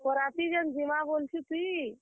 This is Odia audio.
ବରାତି ଯେନ୍ ଜିମା ବୋଲୁଛୁ ତୁଇ।